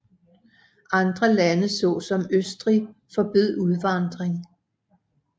Andre lande såsom Østrig forbød udvandring